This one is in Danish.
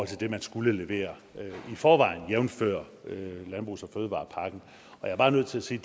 til det man skulle levere i forvejen jævnfør landbrugs og fødevarepakken jeg er bare nødt til at sige